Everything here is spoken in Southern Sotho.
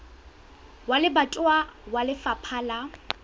wa lebatowa wa lefapha la